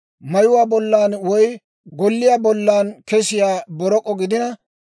mayuwaa bollan woy golliyaa bollan kesiyaa borok'o gidina,